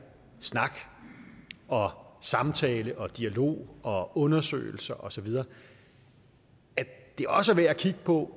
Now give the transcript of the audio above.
snak og samtale og dialog og undersøgelser og så videre også er værd at kigge på